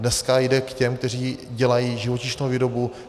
Dneska jde k těm, kteří dělají živočišnou výrobu.